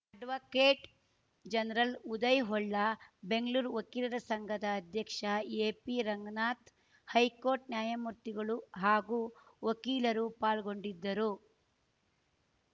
advocate general Uday Holla Bengaluru ವಕೀಲರ ಸಂಘದ ಅಧ್ಯಕ್ಷ ಎಪಿ ರಂಗನಾಥ್‌ ಹೈಕೋರ್ಟ್‌ ನ್ಯಾಯಮೂರ್ತಿಗಳು ಹಾಗೂ ವಕೀಲರು ಪಾಲ್ಗೊಂಡಿದ್ದರು